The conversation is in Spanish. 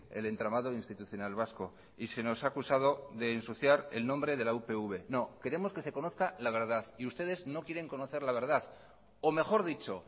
el entramado institucional vasco y se nos ha acusado de ensuciar el nombre de la upv no queremos que se conozca la verdad y ustedes no quieren conocer la verdad o mejor dicho